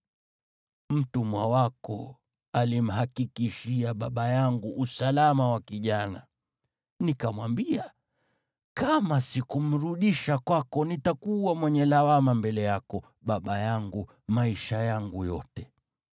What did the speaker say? Mtumwa wako alimhakikishia baba yangu usalama wa kijana. Nikamwambia, ‘Kama sikumrudisha kwako nitakuwa mwenye lawama mbele yako, baba yangu, maisha yangu yote!’